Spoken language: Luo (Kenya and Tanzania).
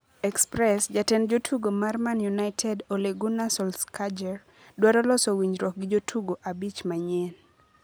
(Express) Jatend jotugo mar Man United Ole Gunnar Solskjaer dwaro loso winjruok gi jotugo abich manyien.